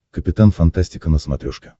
капитан фантастика на смотрешке